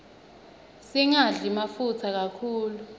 singadli mafutsa kakhulu